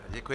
Děkuji.